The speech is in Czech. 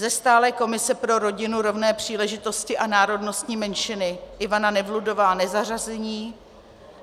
Ze stálé komise pro rodinu, rovné příležitosti a národnostní menšiny Ivana Nevludová nezařazení.